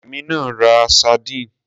Èmi náà ra sardines.